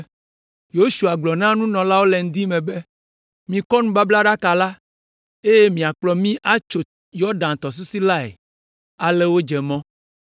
Yosua gblɔ na nunɔlawo le ŋdi me be, “Mikɔ nubablaɖaka la, eye miakplɔ mí atso Yɔdan tɔsisi lae!” Ale wodze mɔ.